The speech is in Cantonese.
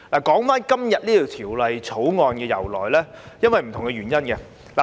關於今天這項《條例草案》的由來，這